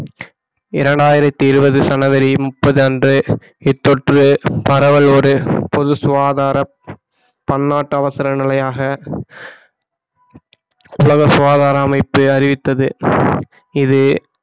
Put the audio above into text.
இரண்டாயிரத்தி இருபது ஜனவரி முப்பது அன்று இத்தொற்று பரவலோடு பொது சுகாதாரம் பன்னாட்டு அவசர நிலையாக உலக சுகாதார அமைப்பு அறிவித்தது இது